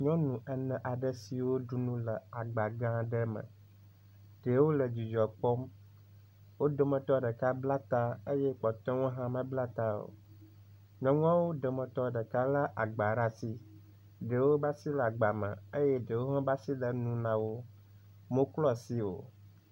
Nyɔnu ene aɖe siwo ɖu nu le gba gã aɖe me ye wo le dzudzɔ kpɔm. wo dometɔ ɖeka bla ta eye kpɔtɔewo hã mebla ta o. Nyɔnuawo dometɔ ɖeka le agba ɖe asi. Ɖewo ƒe ai le agba me eye ɖewo ƒe asi le nu na wo. Womeklɔ asi o.